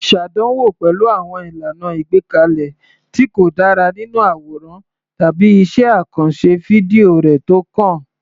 Ṣàdánwò pẹ̀lú àwọn ìlànà àgbékalẹ̀ tí kò dára nínú àwòrán tàbí iṣẹ́ àkànṣe fídíò rẹ tó kàn.